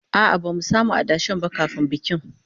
A'a, ba zamu samu adashen mu ba kafin bikin